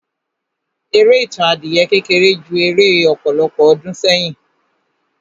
Eré Ìtàn adìyẹ kékeré jẹ́ eré ọ̀pọ̀lọpọ̀ ọdún sẹ́yìn.